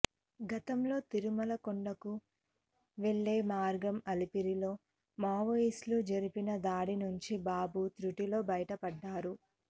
గతంలో తిరుమల కొండకు వెళ్లే మార్గం అలిపిరిలో మావోయిస్టులు జరిపిన దాడి నుంచి బాబు తృటిలో బయటపడ్డారు